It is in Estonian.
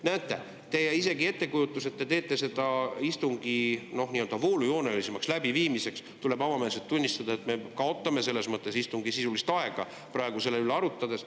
Näete, ettekujutuse puhul, et te teete seda istungi nii-öelda voolujoonelisemaks läbiviimiseks, tuleb avameelselt tunnistada, et me kaotame istungi sisulist aega praegu selle üle arutades.